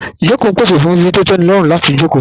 Ìjókòó ń pèsè fún ibi tó tẹ́nilọ́rùn láti jókòó sí